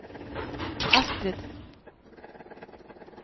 Astrid